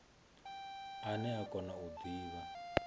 ane a kona u divha